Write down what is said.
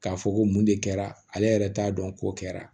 K'a fɔ ko mun de kɛra ale yɛrɛ t'a dɔn ko kɛra